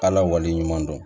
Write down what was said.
K'ala waleɲuman dɔn